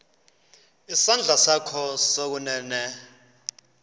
isandla sakho sokunene